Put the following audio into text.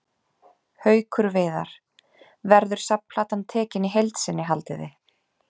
Haukur Viðar: Verður safnplatan tekin í heild sinni haldið þið?